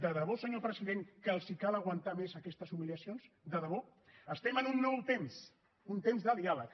de debò senyor president que els cal aguantar més aquestes humiliacions de debò estem en un nou temps un temps de diàleg